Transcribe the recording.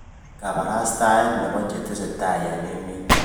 Kabarastaet nebo chetesetai eng emet